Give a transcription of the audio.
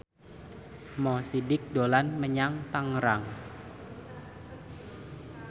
Mo Sidik dolan menyang Tangerang